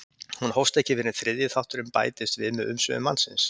hún hófst ekki fyrr en þriðji þátturinn bætist við með umsvifum mannsins